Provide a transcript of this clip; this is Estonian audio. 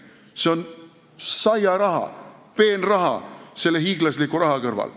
See on saiaraha, peenraha selle hiiglasliku summa kõrval.